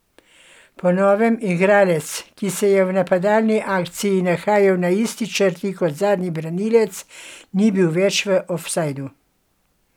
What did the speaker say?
Po novem igralec, ki se je v napadalni akciji nahajal na isti črti kot zadnji branilec, ni bil več v ofsajdu.